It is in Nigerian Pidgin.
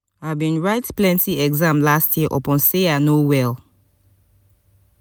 i bin write plenty exam last year upon sey i no well.